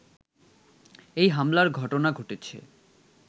এই হামলার ঘটনা ঘটেছে